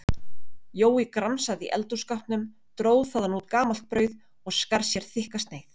Jói gramsaði í eldhússkápnum, dró þaðan út gamalt brauð og skar sér þykka sneið.